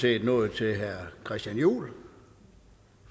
set nået til herre christian juhl